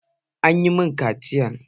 An yi ma ƙaciyan?